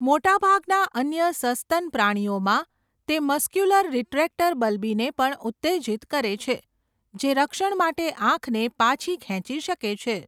મોટાભાગના અન્ય સસ્તન પ્રાણીઓમાં, તે મસ્ક્યુલસ રીટ્રેક્ટર બલ્બીને પણ ઉત્તેજિત કરે છે, જે રક્ષણ માટે આંખને પાછી ખેંચી શકે છે.